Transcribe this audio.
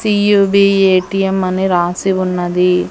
CUV A T M అని రాసి ఉన్నది.